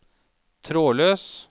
trådløs